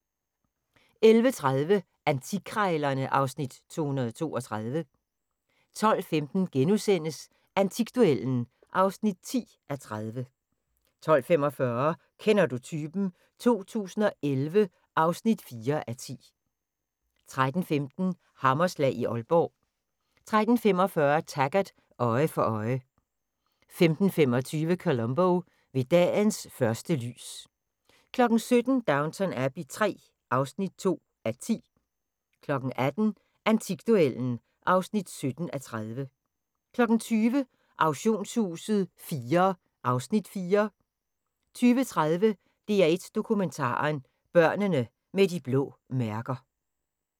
11:30: Antikkrejlerne (Afs. 232) 12:15: Antikduellen (10:30)* 12:45: Kender du typen? 2011 (4:10) 13:15: Hammerslag i Aalborg 13:45: Taggart: Øje for øje 15:25: Columbo: Ved dagens første lys 17:00: Downton Abbey III (2:10) 18:00: Antikduellen (17:30) 20:00: Auktionshuset IV (Afs. 4) 20:30: DR1 Dokumentaren: Børnene med de blå mærker